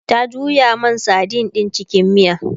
ta juya man sadin ɗin cikin miya